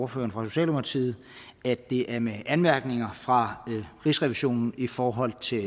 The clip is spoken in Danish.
for socialdemokratiet at det er med anmærkninger fra rigsrevisionen i forhold til